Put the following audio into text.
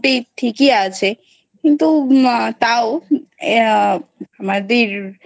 ঠিকই আছে। কিন্তু তাও আমাদের